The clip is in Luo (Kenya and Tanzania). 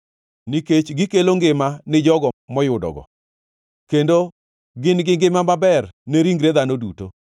nikech gikelo ngima ni jogo moyudogo kendo gin gi ngima maber ne ringre dhano duto.